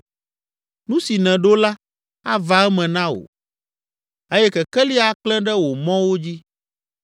Nu si nèɖo la, ava eme na wò eye kekeli aklẽ ɖe wò mɔwo dzi.